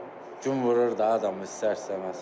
Gün vurur da adamı istər-istəməz.